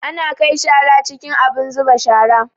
Ana kai shara cikin abin zuba shara